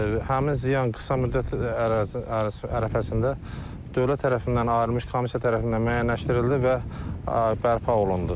Həmin ziyan qısa müddət ərzində dövlət tərəfindən ayrılmış komissiya tərəfindən müəyyənləşdirildi və bərpa olundu.